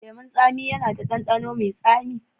Lemun tsami yana da ɗanɗano mai tsami.